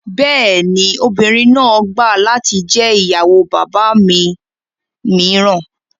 Bẹ́ẹ̀ ni, obìnrin náà gbà latí jẹ́ ìyàwó bàbá mi mìíràn